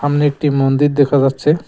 সামনে একটি মন্দির দেখা যাচ্ছে।